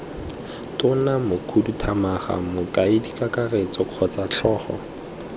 tona mokhuduthamaga mokaedikakaretso kgotsa tlhogo